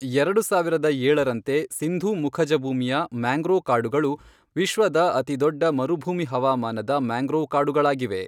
ಎರಡು ಸಾವಿರದ ಏಳರಂತೆ, ಸಿಂಧೂ ಮುಖಜಭೂಮಿಯ ಮ್ಯಾಂಗ್ರೋವ್ ಕಾಡುಗಳು ವಿಶ್ವದ ಅತಿದೊಡ್ಡ ಮರುಭೂಮಿ ಹವಾಮಾನದ ಮ್ಯಾಂಗ್ರೋವ್ ಕಾಡುಗಳಾಗಿವೆ.